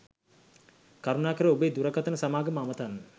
කරුණාකර ඔබේ දුරකථන සමාගම අමතන්න.